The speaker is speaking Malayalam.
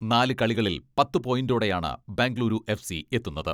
നാല് കളികളിൽ പത്ത് പോയിന്റോടെയാണ് ബെങ്കളൂരു എഫ് സി എത്തുന്നത്.